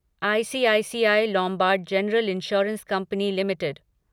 ICICI Lombard general insurance company limited